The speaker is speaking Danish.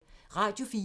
Radio 4